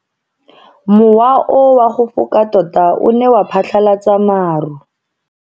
Mowa o wa go foka tota o ne wa phatlalatsa maru.